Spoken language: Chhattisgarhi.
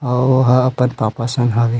और ओहा अपन पापा संग हावे।